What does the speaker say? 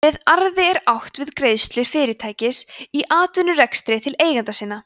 með arði er átt við greiðslur fyrirtækis í atvinnurekstri til eigenda sinna